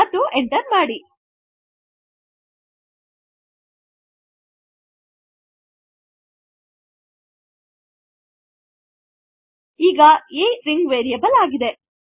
ಮತ್ತು enter ಮಾಡಿ ಈಗ a ಸ್ಟ್ರಿಂಗ್ ವೇರಿಯಬಲ್ ಆಗಿದೆ